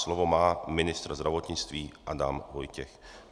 Slovo má ministr zdravotnictví Adam Vojtěch.